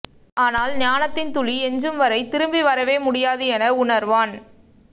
ஆனால் ஞானத்தின் துளி எஞ்சும்வரை திரும்பி வரவே முடியாது என உணர்வான்